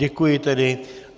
Děkuji tedy.